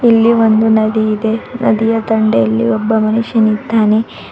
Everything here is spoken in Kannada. ಇಲ್ಲಿ ಒಂದು ನದಿ ಇದೆ ನದಿಯ ದಂಡೆಯಲ್ಲಿ ಒಬ್ಬ ಮನುಷ್ಯನಿದ್ದಾನೆ.